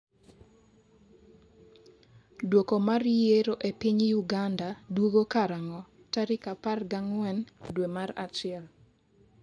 dwoko mar yiero e piny Uganda duogo karang'o? tarik par gi ang'wen dwe mar achiel